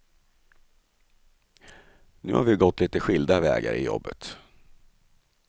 Nu har vi gått lite skilda vägar i jobbet.